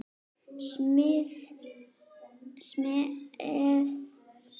Semjið þið í nótt?